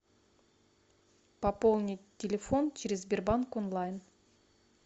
пополнить телефон через сбербанк онлайн